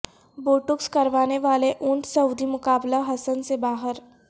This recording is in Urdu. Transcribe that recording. بوٹوکس کروانے پر اونٹ سعودی مقابلہ حسن سے باہر